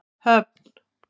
Höfn